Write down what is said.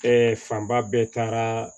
fanba bɛɛ taara